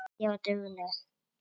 Ég var dugleg.